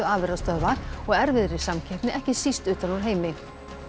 afurðastöðva og erfiðri samkeppni ekki síst utan úr heimi